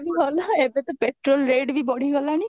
ବି ଭଲ ଏବେ ତ petrol rate ବି ବଢିଗଲାଣି